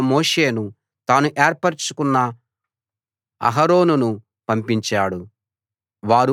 ఆయన తన సేవకుడైన మోషేను తాను ఏర్పరచుకున్న అహరోనును పంపించాడు